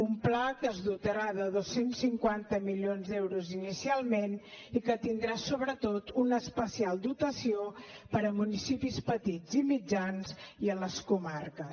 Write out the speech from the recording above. un pla que es dotarà de dos cents i cinquanta milions d’euros inicialment i que tindrà sobretot una especial dotació per a municipis petits i mitjans i a les comarques